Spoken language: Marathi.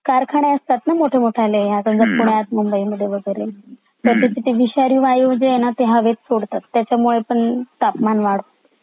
कारखाने असत ना मोठे मोठेले आता पुण्यात मुंबईत यामध्ये वगैरे ते विषारी वायू जे आहेत ना ते हवेत सोडतात त्याचमुळे पण तापमान वाढ होते